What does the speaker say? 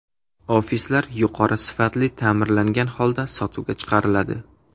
Ofislar yuqori sifatli ta’mirlangan holda sotuvga chiqariladi.